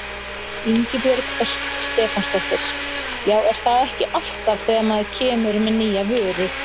Ingibjörg Ösp Stefánsdóttir: Já er það ekki alltaf þegar maður kemur með nýja vöru?